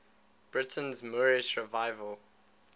britain's moorish revival